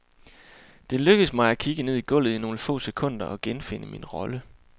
Det lykkes mig at kigge ned i gulvet i nogle få sekunder og genfinde min rolle.